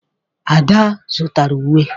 Ada zụtara uwe.